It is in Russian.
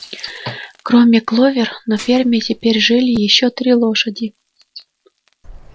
кроме кловер на ферме теперь жили ещё три лошади